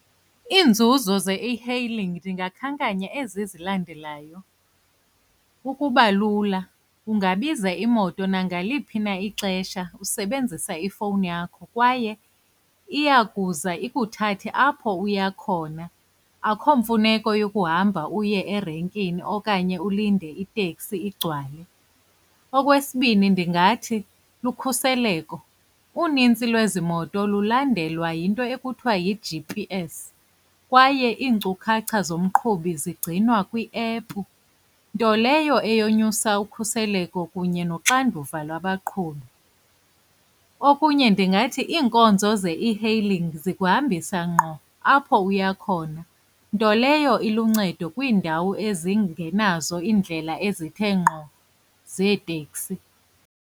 Iinzuzo ze-e-hailng ndingakhankanyanga ezi zilandelayo, ukuba lula. Ungabiza imoto nangaliphi na ixesha usebenzisa ifowuni yakho kwaye iya kuza ikuthathe apho uya khona, akho mfuneko yokuhamba uye erenkini okanye ulinde iteksi igcwale. Okwesibini ndingathi lukhuseleko. Unintsi lwezi moto lulandelwa yinto ekuthiwa yi-G_P_S kwaye iinkcukacha zomqhubi zigcinwa kwiephu, nto leyo eyonyusa ukhuseleko kunye noxanduva lwabaqhubi. Okunye ndingathi iinkonzo ze-e-hailing zikuhambisa ngqo apho uya khona, nto leyo iluncedo kwiindawo ezingenazo iindlela ezithe ngqo zeteksi.